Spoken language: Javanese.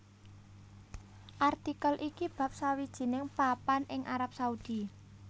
Artikel iki bab sawijining papan ing Arab Saudi